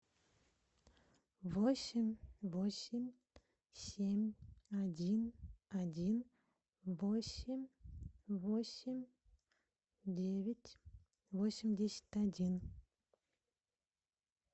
восемь восемь семь один один восемь восемь девять восемьдесят один